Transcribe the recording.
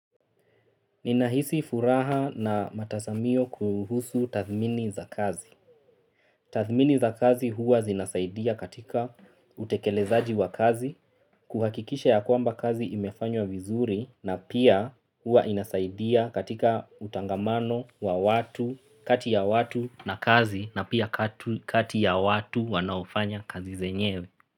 Ninahisi furaha na matasamio kuhusu tathmini za kazi. Tathmini za kazi huwa zinasaidia katika utekelezaji wa kazi, kuhakikisha ya kwamba kazi imefanywa vizuri, na pia huwa inasaidia katika utangamano wa watu kati ya watu na kazi na pia kati ya watu wanaofanya kazi zenyewe.